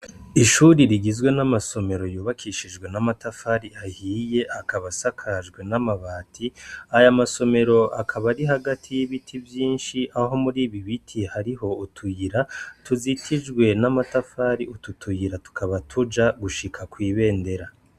Ishure rigizwe namasomero yubakishijwe n'amatafari ahiye akaba asakajwe n'amabati aya masomero akaba ari hagati yibiti vyinshi aho muri ibibiti hari utuyira tuzitijwe n'amatafari utu tuyira tukaba tuja gushika kwibendera.